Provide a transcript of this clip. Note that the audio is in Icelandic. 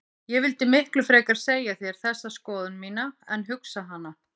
Ég vildi miklu frekar segja þér þessa skoðun mína en hugsa hana.